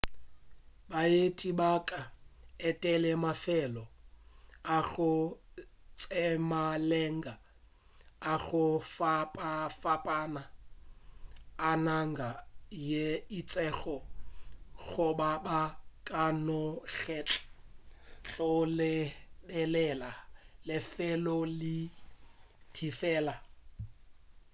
baeti ba ka etela mafelo a go tsebalega a go fapafapana a naga ye itšego goba ba ka no kgetha go lebelela lefelo le tee fela